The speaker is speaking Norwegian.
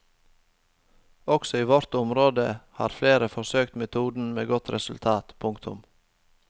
Også i vårt område har flere forsøkt metoden med godt resultat. punktum